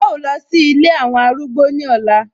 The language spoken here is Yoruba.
A ó lọ sí Ilé àwọn arúgbó ní ọ̀la